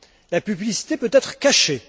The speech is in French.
La publicité peut être cachée.